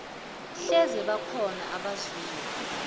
hleze bakhona abazwile